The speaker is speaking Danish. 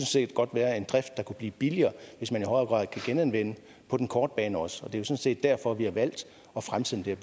set godt være en drift der kunne blive billigere hvis man i højere grad kan genanvende på den korte bane også og det er jo sådan set derfor vi har valgt at fremsætte det